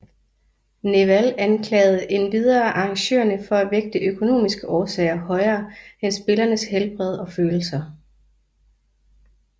Nehwal anklagede endvidere arrangørerne for at vægte økonomiske årsager højere end spillernes helbred og følelser